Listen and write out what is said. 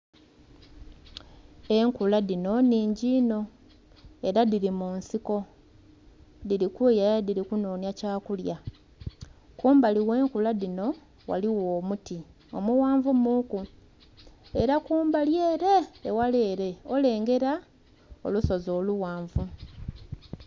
Enkula dhino nnhingi inho ela dhili mu nsiko, dhili kweyaya dhili kunhonhya kyakulya. Kumbali gh'enkula dhino ghaligho omuti omughanvu muuku. Ela kumbali ele, eghala ele olengela olusozi olughanvu.